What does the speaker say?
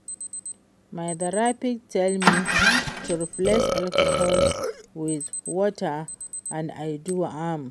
My therapist tell me to replace alcohol with water and I do am